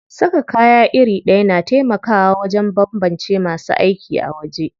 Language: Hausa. Saka kaya iri ɗaya na taimakawa wajen banbance masu aiki a waje.